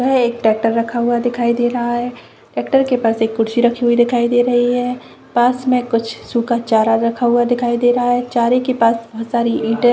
यह एक टेक्टर रखा हुआ दिखाई दे रहा है टेक्टर के पास एक कुर्सी रखी हुई दिखाई दे रही है पास में कुछ सुखा चारा रखा हुआ दिखाइ दे रहा है चारे के पास बहोत सारी ईटे--